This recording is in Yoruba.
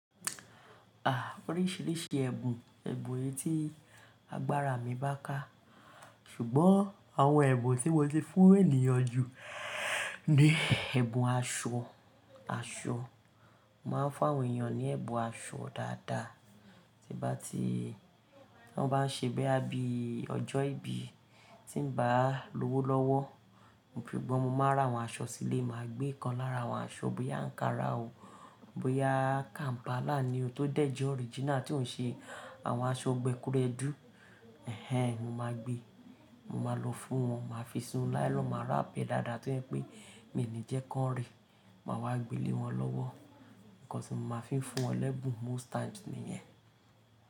Ah, oríṣiríṣi ẹ̀bùn, ẹ̀bùn etí, agbára mi bá ká. Ṣùgbọ́n àwọn ẹ̀bùn tí mo ti fún ènìyàn jù ní ẹ̀bùn aṣọ. Aṣọ, màá fún àwọn ènìyàn ní ẹ̀bùn aṣọ dáadáa. Tí bá ti, tí wọ́n bá ń ṣe bíi ọjọ́ ìbí tí ń bá l'ówó lọ́wọ́. Sugbọn, mo máa ra àwọn aṣọ sílé, màá gbé kan lára àwọn aṣọ bóyá ankara o, bóyá Kampala ni o tó dẹ̀je original tí ò ń ṣe àwọn aṣọ gbekuredú. Ẹ̀hẹn, mo máa gbe, mo máa lọ fún wọn, màá fi sinu láílọn, màá ra'apu e dáadáa tó jẹ pé mi ní jẹ́ kọ́n ri. Màá wá gbé lé wọn lọ́wọ́. Ǹkan tí mo máa fi ń fún wọn l'ẹ́bùn most times ni yẹn.